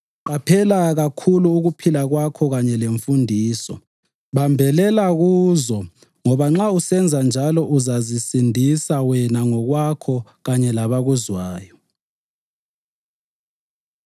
Qaphela kakhulu ukuphila kwakho kanye lemfundiso. Bambelela kuzo ngoba nxa usenza njalo uzazisindisa wena ngokwakho kanye labakuzwayo.